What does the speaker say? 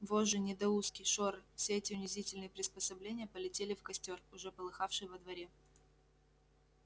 вожжи недоуздки шоры все эти унизительные приспособления полетели в костёр уже полыхавший во дворе